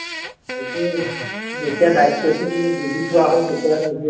এইটোৱেই যেতিয়া দায়িত্বটো বুজি পোৱা হয় তেতিয়া নিজে